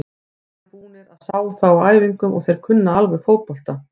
Við erum búnir að sjá þá á æfingum og þeir kunna alveg fótbolta.